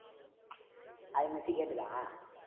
அது miss கேட்டுதா